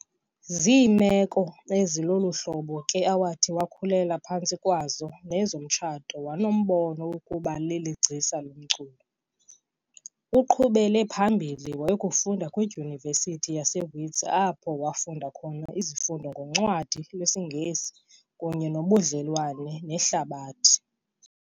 Ziimeko ezi lolu hlobo ke awathi wakhulela phantsi kwazo nezamtsho wanombono wokuba leli gcisa lomculo. Uqhubele phambili wayakufunda kwiDyunivesithi yaseWits apho wafunda khona izifundo ngoncwadi lwesiNgesi kunye nobudlelwane nehlabathi.